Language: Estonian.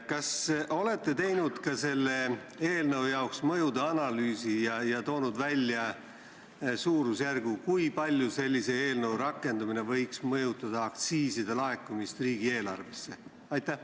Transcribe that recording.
Kas te olete teinud selle eelnõu jaoks ka mõjude analüüsi ja toonud välja suurusjärgu, kui palju sellise eelnõu rakendumine võiks mõjutada aktsiiside laekumist riigieelarvesse?